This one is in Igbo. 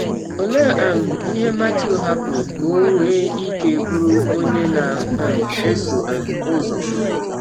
Ọlee um ihe Matiụ hapụrụ ka ọ nwee ike bụrụ ọnye na um - esọ um ụzọ?